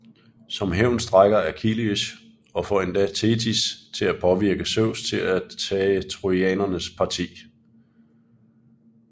Som hævn strejker Achilleus og får endda Thetis til at påvirke Zeus til at tage trojanernes parti